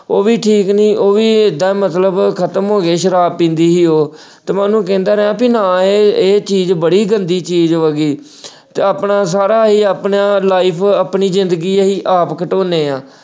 ਉਹ ਵੀ ਠੀਕ ਨਹੀਂ ਉਹ ਵੀ ਐਦਾ ਮਤਲਬ ਖ਼ਤਮ ਹੋ ਗਏ ਸ਼ਾਰਾਬ ਪੀਂਦੀ ਸੀ ਉਹ ਤੇ ਮੈਂ ਉਹਨੂੰ ਕਹਿੰਦਾ ਰਿਹਾ ਤੂੰ ਨਾ ਇ ਅਹ ਇਹ ਚੀਜ਼ ਬੜੀ ਗੰਦੀ ਚੀਜ਼ ਵਾ ਗੀ ਤੇ ਅਹ ਆਪਣਾ ਸਾਰਾ ਇਹ ਆਪਣਾ life ਆਪਣੀ ਜਿੰਦਗੀ ਅਸੀਂ ਆਪ ਘਟਾਉਣੇ ਆ।